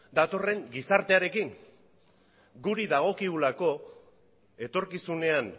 datorren gizartearekin guri dagokigulako etorkizunean